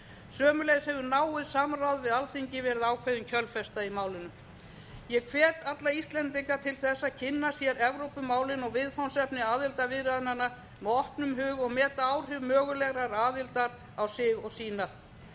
sömuleiðis hefur náið samráð við alþingi verið ákveðin kjölfesta í málinu ég hvet alla íslendinga til þess að kynna sér evrópumálin og viðfangsefni aðildarviðræðnanna með opnum huga og meta áhrif mögulegrar aðildar á sig og sína umsóknarferlið